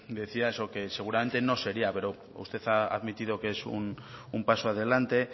decía eso que seguramente no se haría pero usted ha admitido que es un paso adelante